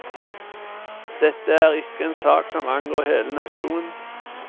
Dette er ikke en sak som angår hele nasjonen.